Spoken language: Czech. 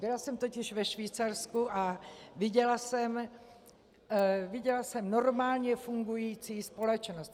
Byla jsem totiž ve Švýcarsku a viděla jsem normálně fungující společnost.